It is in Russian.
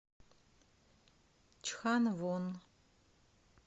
чханвон